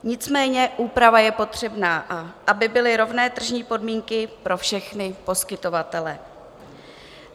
Nicméně úprava je potřebná, aby byly rovné tržní podmínky pro všechny poskytovatele.